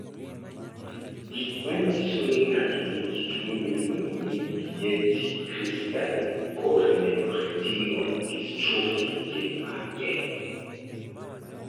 Gik manyiso ni ng'ato nigi tuwo miluongo ni Bietti crystalline corneoretinal dystrophy gin mage?